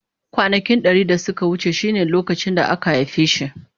Kwanaki dari da suka wuce shine lokacin da aka haife shi.